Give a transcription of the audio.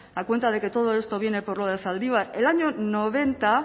a cuenta de que todo esto viene por lo de zaldibar el año noventa